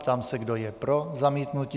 Ptám se, kdo je pro zamítnutí.